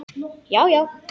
Já, já.